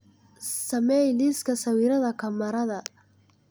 samee liiska sawirada kamarada